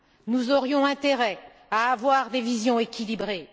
Nous aurions intérêt à avoir des visions équilibrées.